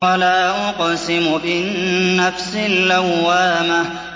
وَلَا أُقْسِمُ بِالنَّفْسِ اللَّوَّامَةِ